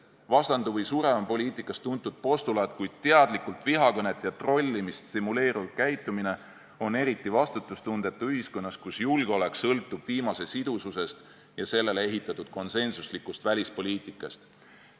"Vastandu või sure" on poliitikas tuntud postulaat, kuid teadlikult vihakõnet ja trollimist stimuleeriv käitumine on eriti vastutustundetu ühiskonnas, kus julgeolek sõltub viimase sidususest ja sellele ehitatud konsensuslikust välispoliitikast.